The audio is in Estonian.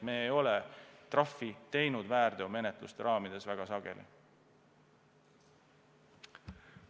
Me ei ole väärteomenetluste raames trahve väga sageli teinud.